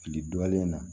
Fili dɔlen na